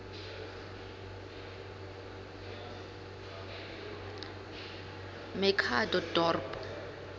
machadodorp